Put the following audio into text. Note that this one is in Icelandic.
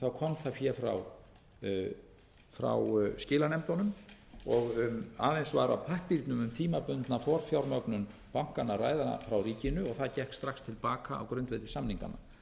að fjármögnuninni kom það fé frá skilanefndunum og aðeins var á pappírnum um tímabundna forfjármögnun bankanna að ræða frá ríkinu það gekk strax til baka á grundvelli samninganna